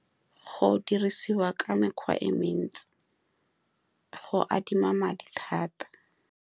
Go dirisiwa ka mekgwa e le mentsi, go adima madi thata.